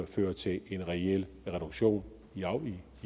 fører til en reel reduktion